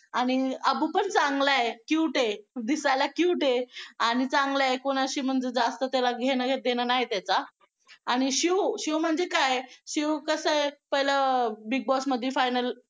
आणि अबूपण चांगला आहे cute आहे दिसायला cute आहे आणि चांगलं आहे कुणाशी म्हणजे जास्त त्याला घेणं देणं नाही त्याचा आणि शिव, शिव म्हणजे काय आहे शिव कसं आहे पहिलं Big Boss मध्ये final